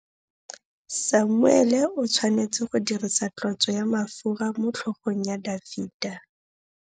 Samuele o tshwanetse go dirisa tlotsô ya mafura motlhôgong ya Dafita.